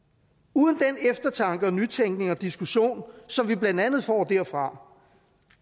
uden den eftertanke og nytænkning og diskussion som vi blandt andet får derfra